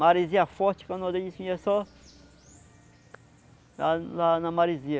Maresia forte, canoa dele tinha só... lá lá na maresia.